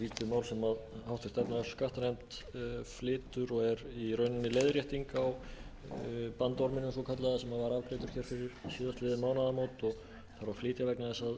rauninni leiðrétting á bandorminum svokallaða sem var afgreiddur hér fyrir síðastliðinn mánaðamót og þarf að flytja vegna þess að